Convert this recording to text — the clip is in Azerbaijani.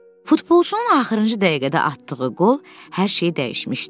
Futbolçunun axırıncı dəqiqədə atdığı qol hər şeyi dəyişmişdi.